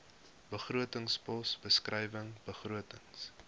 begrotingspos beskrywing begrotings